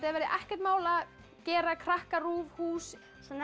að verði ekkert mál að gera KrakkaRÚV hús